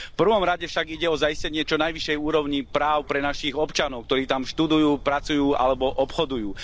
V prvom rade však ide o zaistenie čo najvyššej úrovni práv pre našich občanov, ktorí tam študujú, pracujú alebo obchodujú.